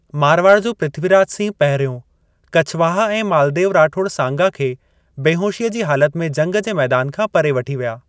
मारवाड़ जो पृथ्वीराज सिंह पहिरियों कछवाहा ऐं मालदेव राठौड़ सांगा खे बेहोशीअ जी हालत में जंग जे मैदान खां परे वठी विया।